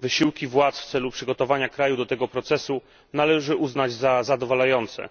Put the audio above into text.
Wysiłki władz w celu przygotowania kraju do tego procesu należy uznać za zadowalające.